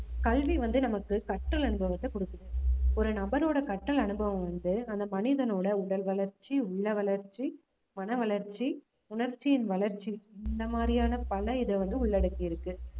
கல்வி வந்து நமக்கு கற்றல் அனுபவத்தை கொடுக்குது ஒரு நபரோட கற்றல் அனுபவம் வந்து அந்த மனிதனோட உடல் வளர்ச்சி, உள்ள வளர்ச்சி, மன வளர்ச்சி, உணர்ச்சியின் வளர்ச்சி, இந்த மாதிரியான பல இதை வந்து உள்ளடக்கி இருக்கு